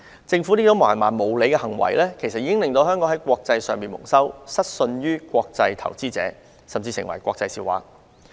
政府這種蠻橫無理的行為，已令香港在國際社會蒙羞，失信於國際投資者，甚至成為國際笑話。